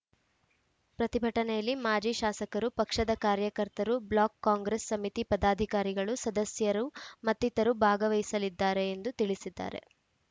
ಪ್ರತಿಭಟನೆಯಲ್ಲಿ ಮಾಜಿ ಶಾಸಕರು ಪಕ್ಷದ ಕಾರ್ಯಕರ್ತರು ಬ್ಲಾಕ್‌ ಕಾಂಗ್ರೆಸ್‌ ಸಮಿತಿ ಪದಾಧಿಕಾರಿಗಳು ಸದಸ್ಯರು ಮತ್ತಿತರರು ಭಾಗವಹಿಸಲಿದ್ದಾರೆ ಎಂದು ತಿಳಿಸಿದ್ದಾರೆ